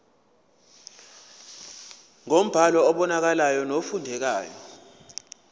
ngombhalo obonakalayo nofundekayo